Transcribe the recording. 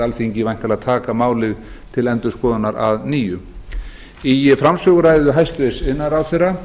alþingi væntanlega taka málið til endurskoðunar að nýju í framsöguræðu hæstvirtur iðnaðarráðherra